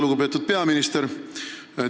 Lugupeetud peaminister!